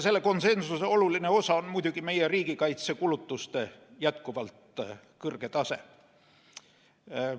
Selle konsensuse oluline osa on muidugi meie riigikaitsekulutuste jätkuvalt kõrge tase.